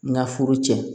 N ka furu cɛ